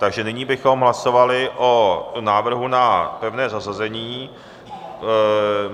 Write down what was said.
Takže nyní bychom hlasovali o návrhu na pevné zařazení.